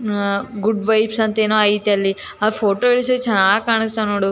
‌ Ah good vibes ಅಂತ ಏನೋ ಐತೆ ಅಲ್ಲಿ ಆ ಫೋಟೋ ಎಷ್ಟು ಚೆನ್ನಾಗಿ ಕಾಣಿಸ್ತಾವ ನೋಡು .